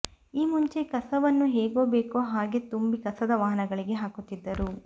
ಈ ಮುಂಚೆ ಕಸವನ್ನು ಹೇಗೊ ಬೇಕೋ ಹಾಗೆಯೇ ತುಂಬಿ ಕಸದ ವಾಹನಗಳಿಗೆ ಹಾಕುತ್ತಿದ್ದರು